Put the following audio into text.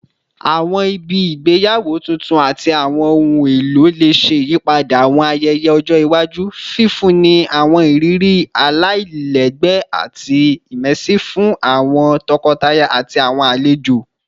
Awọn ibi igbeyawo tuntun ati awọn ohun elo le ṣe iyipada awọn ayẹyẹ ọjọ iwaju, fifunni awọn iriri alailẹgbẹ ati immersive fun awọn tọkọtaya ati awọn alejo